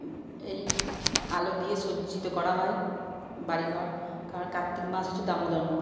এই আলো দিয়ে সজ্জিত করা হয় বাড়িঘর। কারণ কার্তিক মাস হচ্ছে দামোদর মাস।